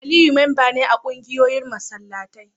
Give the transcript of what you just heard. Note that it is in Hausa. Aliyu memba ne a kungiyoyin masallatai